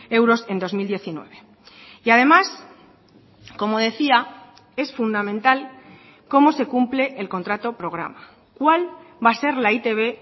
euros en dos mil diecinueve y además como decía es fundamental cómo se cumple el contrato programa cuál va a ser la e i te be